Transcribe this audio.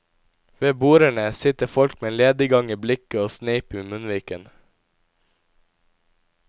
Ved bordene sitter folk med lediggang i blikket og sneip i munnviken.